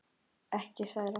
Ekki særa.